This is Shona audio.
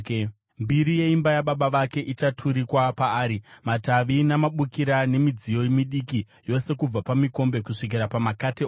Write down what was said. Mbiri yeimba yababa vake ichaturikwa paari; matavi namabukira, nemidziyo midiki yose, kubva pamikombe kusvikira pamakate ose.